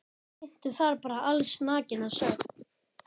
Syntu þar bara allsnakin að sögn.